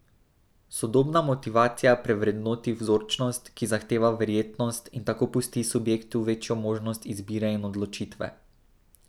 Sodobna motivacija prevrednoti vzročnost, ki zahteva verjetnost, in tako pusti subjektu večjo možnost izbire in odločitve.